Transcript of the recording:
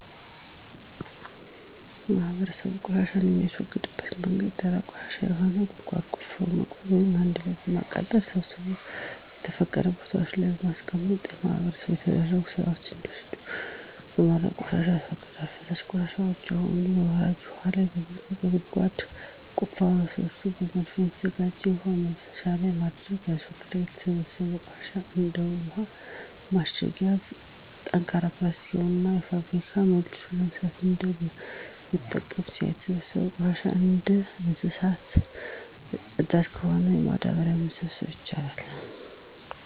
ማህበረሰቡ ቆሻሻን የሚያስወግድበት መንገድ ደረቅ ቆሻሻ ከሆነ ጉድጓድ ቆፍሮ በመቅበር ወይም አንድ ላይ በማዳበሪያ ሰብስቦ በተፈቀዱ ቦታወች ላይ በማስቀመጥ በማህበር የተደራጁ ስዎች እንዲወስዱት በማድረግ ቆሻሻን ያስወግዳሉ። ፈሳሽ ቆሻሻወች ከሆኑ በወራጅ ውሀ ላይ በመልቀቅ ከጓሮ ጉድጓድ ሰርቶ በመድፋትና በተዘጋጀ የውሀ መፍሰሻ ላይ በመድፋት ያስወግዳሉ። የተሰበሰበው ቆሻሻ እንደ ውሀ ማሸጊያ ጠንካራ ፕላስቲክ ከሆነ በፋብሪካ መልሶ በመስራት እንደገና መጠቀም ይቻላል። የተሰበሰበው ቆሻሻ እንደ እንሰሳት ፅዳጅ ከሆነ ለማዳበሪያነት መጠቀም ይቻላል።